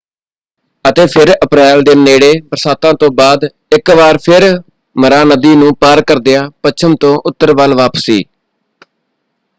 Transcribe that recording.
ਅਤੇ ਫਿਰ ਅਪ੍ਰੈਲ ਦੇ ਨੇੜੇ ਬਰਸਾਤਾਂ ਤੋਂ ਬਾਅਦ ਇੱਕ ਵਾਰ ਫਿਰ ਮਰਾ ਨਦੀ ਨੂੰ ਪਾਰ ਕਰਦਿਆਂ ਪੱਛਮ ਤੋਂ ਉੱਤਰ ਵੱਲ ਵਾਪਸੀ।